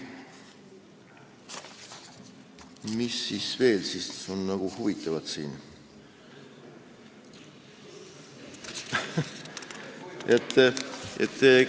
Mis siin veel huvitavat on?